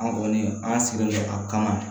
An kɔni an sigilen don a kama